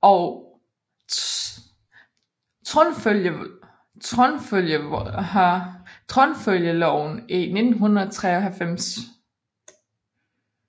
og tronfølgeloven i 1953